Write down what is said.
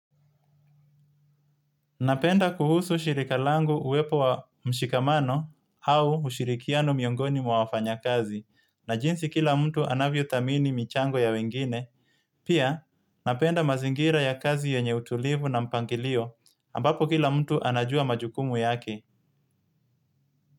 Napenda kuhusu shirikalangu uwepo wa mshikamano au ushirikiano miongoni mwa wafanya kazi na jinsi kila mtu anavyo tamini michango ya wengine. Pia napenda mazingira ya kazi yenye utulivu na mpangilio ambapo kila mtu anajua majukumu yake.